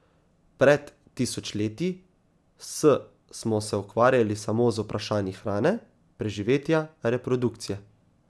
Pred tisočletji s smo se ukvarjali samo z vprašanji hrane, preživetja, reprodukcije.